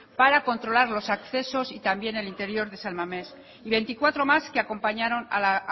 para controlar los accesos y también el interior de san mames y veinticuatro más que acompañaron a la